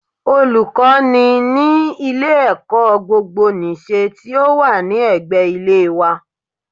Olùkọ́ ni ní ilé ẹ̀kọ́ gbogbo nìse tí ó wà ní ẹ̀gbẹ́ ilé wa